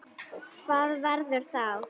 Hvað verður þá?